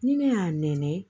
Ni ne y'a nɛni